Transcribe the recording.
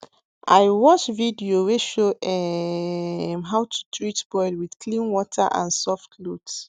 i watch video wey show um how to treat boil with clean water and soft cloth